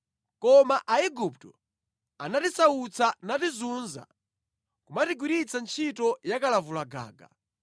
Koma Aigupto anatisautsa natizunza, kumatigwiritsa ntchito yakalavulagaga.